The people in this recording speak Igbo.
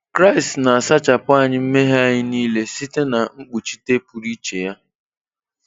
Kraịst na-asachapụ anyị mmehie anyị niile site na mkpuchite pụrụ iche Ya.